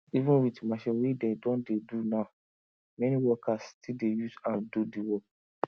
even wit machine wey dey don dey do now many workers still dey use hand do di work